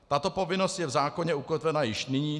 Tato povinnost je v zákoně ukotvena již nyní.